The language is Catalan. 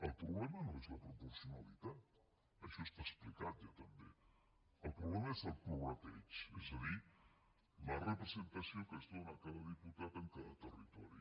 el problema no és la proporcionalitat això està explicat ja també el problema és el prorrateig és a dir la representació que es dóna a cada diputat en cada territori